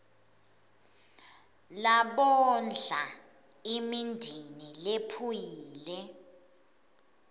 labondla imindeni lephuyile